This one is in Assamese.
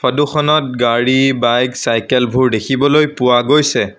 ফটোখনত গাড়ী বাইক চাইকেলবোৰ দেখিবলৈ পোৱা গৈছে।